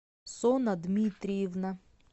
сона дмитриевна